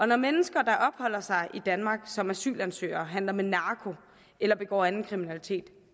når mennesker der opholder sig i danmark som asylansøgere handler med narko eller begår anden kriminalitet